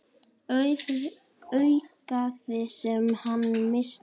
Augað sem hann missti.